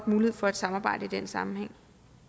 mulighed for et samarbejde i den sammenhæng